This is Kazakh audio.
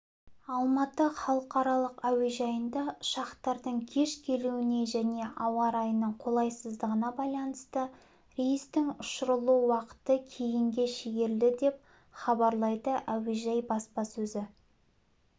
алматы халықаралық әуежайында ұшақтардың кеш келуіне және ауа райының қолайсыздығына байланысты рейстің ұшырылу уақыты кейінге шегерілді деп хабарлайды әуежай баспасөзі